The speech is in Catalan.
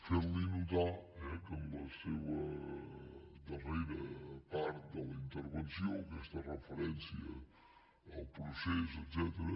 fer li notar eh que en la seva darrera part de la intervenció aquesta referència al procés etcètera